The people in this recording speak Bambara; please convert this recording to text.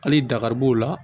Hali dakari b'o la